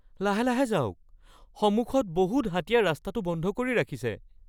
লাহে লাহে যাওক। সন্মুখত বহুত হাতীয়ে ৰাস্তাটো বন্ধ কৰি ৰাখিছে।